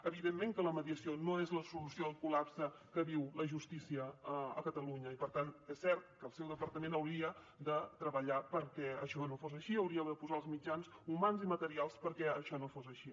evidentment que la mediació no és la solució al col·lapse que viu la justícia a catalunya i per tant és cert que el seu departament hauria de treballar perquè això no fos així hauria de posar els mitjans humans i materials perquè això no fos així